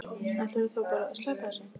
Ætlarðu þá bara að sleppa þessu?